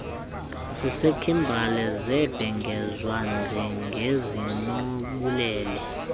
sasekhimbali zabhengezwa njengezinobubele